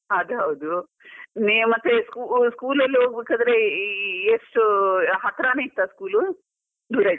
ಅದು ಹೌದು, ನೀವು ಮತ್ತೆ school school ಎಲ್ಲ ಹೋಗ್ಬೇಕಾದ್ರೆ ಈ ಎಷ್ಟು ಹತ್ರನೇ ಇತ್ತಾ ಸ್ಕೂಲು ದೂರ ಇತ್ತು.